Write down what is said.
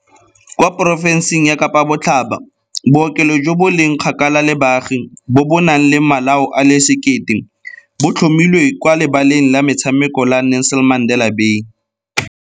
Kwa porofenseng ya Kapa Botlhaba, bookelo jo bo leng kgakala le baagi se se nang le malao a le1 000 se tlhomilwe kwa Lebaleng la Metshameko la Nelson Mandela Bay.